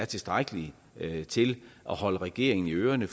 tilstrækkeligt til at holde regeringen i ørerne